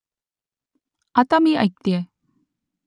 आता मी ऐकतेय